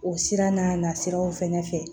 O sira n'a nasiraw fɛnɛ fɛ